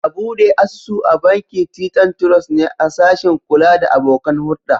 A bude asusu a bankin Titan Trust ne a sashin kula da abokan hurda.